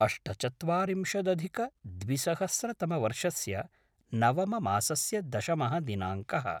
अष्टचत्वारिंशदधिकद्विसहस्रतमवर्षस्य नवममासस्य दशमः दिनाङ्कः